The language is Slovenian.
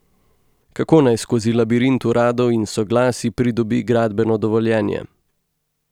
Kako naj skozi labirint uradov in soglasij pridobi gradbeno dovoljenje.